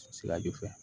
Siraju fɛ